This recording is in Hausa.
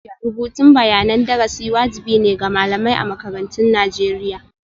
Rubutun bayanan darasi wajibi ne ga malamai a makarantun Najeriya.